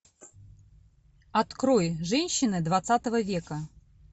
открой женщина двадцатого века